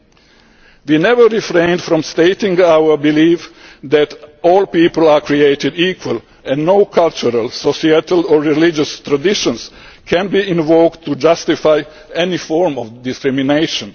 sexual orientation and gender identity. We have never refrained from stating our belief that all people are created equal and that no cultural, societal or religious traditions can be invoked